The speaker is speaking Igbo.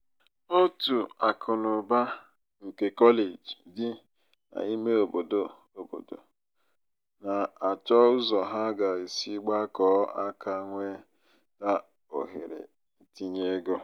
òtù akụnaụba nke kọleji dị n'ime ọbọdọ ọbọdọ na-achọ ụzọ ha ga-esi gbakọọ aka nweta ohere ntinye ego.